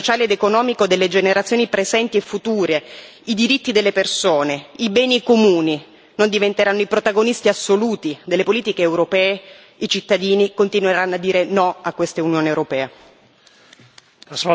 Se il progresso sociale ed economico delle generazioni presenti e future, i diritti delle persone, i beni comuni non diventeranno i protagonisti assoluti delle politiche europee, i cittadini continueranno a dire no a quest'Unione europea.